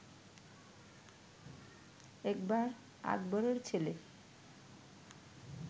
একবার আকবরের ছেলে